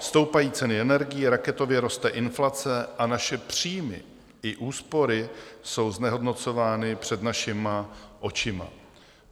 Stoupají ceny energií, raketově roste inflace a naše příjmy i úspory jsou znehodnocovány před našima očima.